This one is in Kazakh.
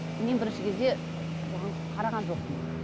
мен бірінші кезде бұған қараған жоқпын